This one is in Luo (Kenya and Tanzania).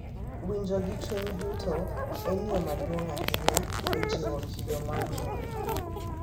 Winjo gi chuny duto en yo maduong’ ahinya e jiwo kido mar ng’uono.